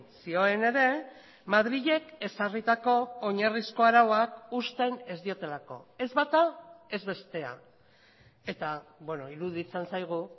zioen ere madrilek ezarritako oinarrizko arauak uzten ez diotelako ez bata ez bestea eta iruditzen zaigu